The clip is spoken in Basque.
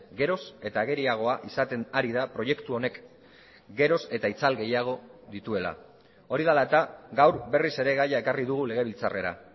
geroz eta ageriagoa izaten ari da proiektu honek geroz eta itzal gehiago dituela hori dela eta gaur berriz ere gaia ekarri dugu legebiltzarrera